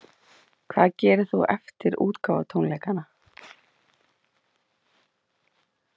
Hvað gerir þú eftir útgáfutónleikana?